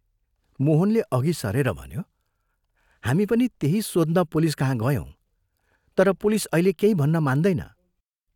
मोहनले अघि सरेर भन्यो, "हामी पनि त्यही सोध्न पुलिस कहाँ गयौँ तर पुलिस अहिले केही भन्न मान्दैन।